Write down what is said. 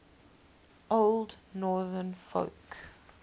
old northern folk